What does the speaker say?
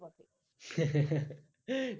হি